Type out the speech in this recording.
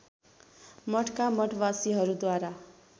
मठका मठवासीहरूद्वारा